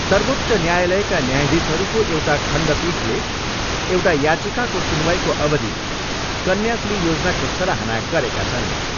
सर्वोच्च न्यायालयका न्यायाधीशहरूको एउटा खण्डपीठले एउटा याचिकाको सुनवाईको अवधि कन्याश्री योजनाको सराहना गरेका छन्।